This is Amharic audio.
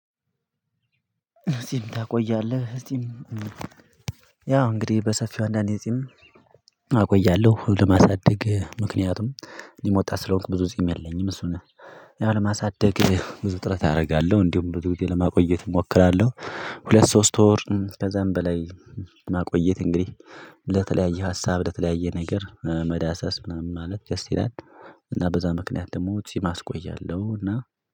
እፂም ታቆያለህ እፂም ያው እንግዲህ በሰፊው አንዳንዴ እፂም ሁሉ ማሳደግ ምክንያቱም እኔም ወጣት ስለሆንኩ ብዙ ጺም የለኝም እሱን ያው ለማሳደግ ብዙ ጥረት አረጋለሁ እንዲሁም ብዙ ጊዜ ለማቆየት እሞክራለሁ። ሁለት ሶስት ወር ከዛም በላይ ማቆየት እንግዲህ ለተለያየ ሀሳብ ለተለያየ ነገር መዳሰስ ምናምን ማለት ደስ ይላል። እና በዛ ምክንያት ደግሞ ጺም አቆያለሁ። እና